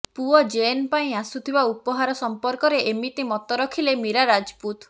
ପୁଅ ଜୈନ୍ ପାଇଁ ଆସୁଥିବା ଉପହାର ସଂପର୍କରେ ଏମିତି ମତ ରଖିଲେ ମୀରା ରାଜପୁତ